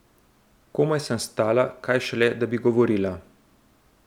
Komaj sem stala, kaj šele, da bi govorila.